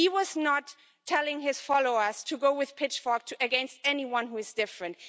He was not telling his followers to go with pitchforks against anyone who is different.